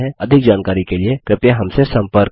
अधिक जानकारी के लिए कृपया हमसे सम्पर्क करें